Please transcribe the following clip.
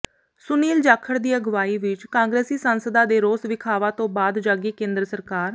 ਸੁਨੀਲ ਜਾਖੜ ਦੀ ਅਗਵਾਈ ਵਿੱਚ ਕਾਂਗਰਸੀ ਸਾਂਸਦਾਂ ਦੇ ਰੋਸ ਵਿਖਾਵਾ ਤੋਂ ਬਾਅਦ ਜਾਗੀ ਕੇਂਦਰ ਸਰਕਾਰ